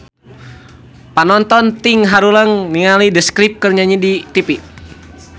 Panonton ting haruleng ningali The Script keur nyanyi di tipi